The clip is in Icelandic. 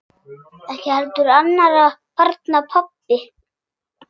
Ekki heldur annarra barna pabbi.